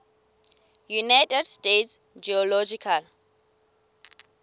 united states geological